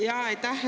Jaa, aitäh!